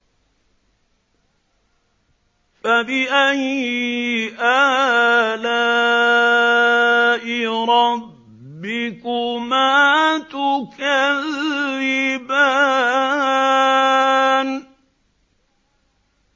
فَبِأَيِّ آلَاءِ رَبِّكُمَا تُكَذِّبَانِ